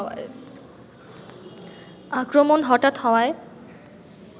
আক্রমণ হঠাৎ হওয়ায়